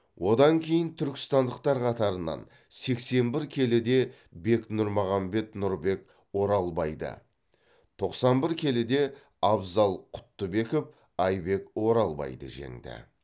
одан кейін түркістандықтар қатарынан сексен бір келіде бек нұрмағанбет нұрбек оралбайды тоқсан бір келіде абзал құттыбеков айбек оралбайды жеңді